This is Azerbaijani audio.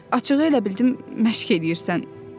Açığı elə bildim məşq eləyirsən.